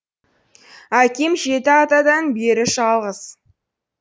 әкем жеті атадан бері жалғыз